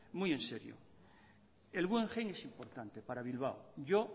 muy en serio el guggenheim es importante para bilbao yo